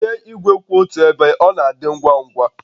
Tinye igwe kwụ otu ebe, ọ na-adị ngwa ngwa